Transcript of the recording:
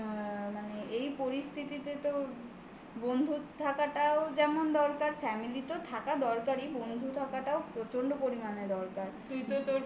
এই আ মানে এই পরিস্থিতিতে তো বন্ধুত্ব থাকাটাও যেমন দরকার family তেও থাকা দরকারি. বন্ধু থাকাটাও প্রচন্ড পরিমাণে দরকার.